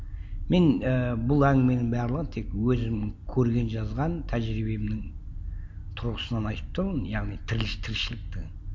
мен і бұл әңгіменің барлығын тек өзім көрген жазған тәжірибемнің тұрғысынан айтып тұрмын яғни тіршіліктің